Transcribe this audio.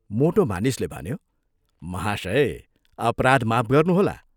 " मोटो मानिसले भन्यो, "महाशय, अपराध माफ गर्नुहोला।